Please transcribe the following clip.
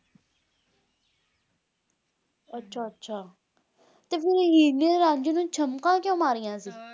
ਅੱਛਾ ਅੱਛਾ ਤੇ ਹੀਰ ਨੇ ਰਾਂਝੇ ਨੂੰ ਚਮਕਾਂ ਕਿਊ ਮਾਰੀਆਂ ਸੀ